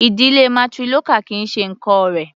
Ìdílé matrilocal kì í ṣe nǹkán rẹ̀.